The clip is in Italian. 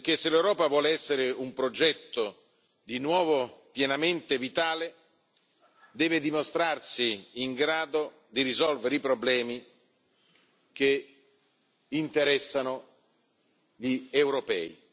Se l'Europa vuole essere un progetto di nuovo pienamente vitale, deve dimostrarsi in grado di risolvere i problemi che interessano gli europei.